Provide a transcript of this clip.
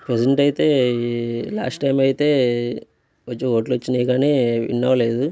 Present అయితే last time అయితే కొంచెం ఓట్ లు వచ్చినీ గాని విన్ అవ్వ అవలేదు.